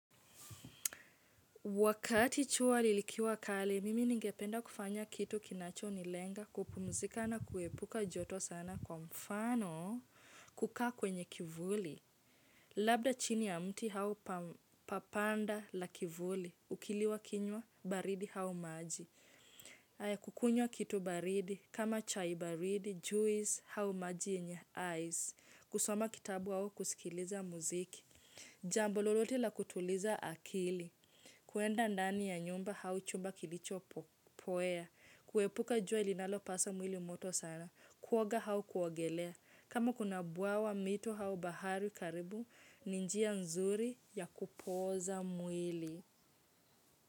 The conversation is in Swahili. Wakati jua likiwa kali, mimi ningependa kufanya kitu kinacho nilenga kupumzika na kuepuka joto sana kwa mfano kukaa kwenye kivuli. Labda chini ya mti hao papanda la kivuli ukiliwa kinywa baridi hao maji. Aya kukunywa kitu baridi kama chai baridi, juiz hao maji enye ice, kusoma kitabu hao kusikiliza muziki. Jambo lolote la kutuliza akili. Kuenda ndani ya nyumba hau chumba kilicho poea. Kuepuka jua ilinalo pasa mwili umoto sana. Kuoga hau kuogelea. Kama kuna buawa mito hau bahari karibu, ni njia nzuri ya kupoza mwili.